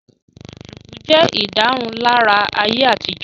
Shùkú jẹ́ ìdárunlárà ayé àtijọ́